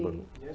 Não num